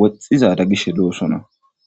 woxxizada gish lo'osona.